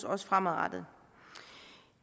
også fremadrettet